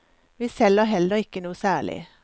Vi selger heller ikke noe særlig.